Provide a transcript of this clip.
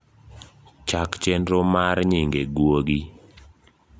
chak chenro mar nyinge gwuogi